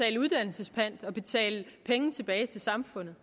en uddannelsespant og penge tilbage til samfundet